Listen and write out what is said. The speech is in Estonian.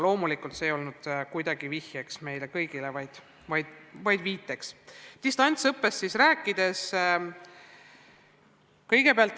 Nüüd distantsõppest.